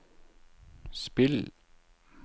spill